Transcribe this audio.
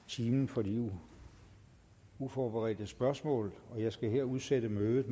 timen for de uforberedte spørgsmål jeg skal her udsætte mødet